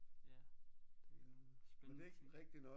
Ja det er nogle spændende ting